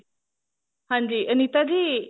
ਹਾਂਜੀ ਅਨੀਤਾ ਜੀ